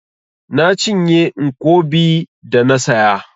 Na cinye nkwobi da na saya.